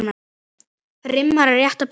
Rimman er rétt að byrja.